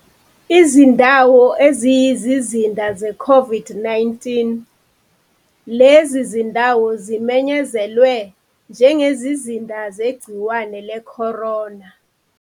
Izindawo eziyizizinda zeCOVID-19. Lezi zindawo zimenyezelwe njengezizinda zegciwane le-corona.